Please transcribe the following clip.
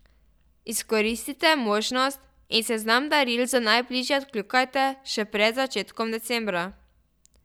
Izkoristite možnost in seznam daril za najbližje odkljukajte še pred začetkom decembra.